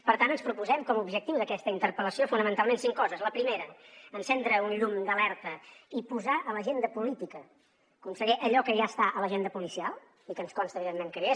per tant ens proposem com a objectiu d’aquesta interpel·lació fonamentalment cinc coses la primera encendre un llum d’alerta i posar a l’agenda política conseller allò que ja està a l’agenda policial i que ens consta evidentment que hi és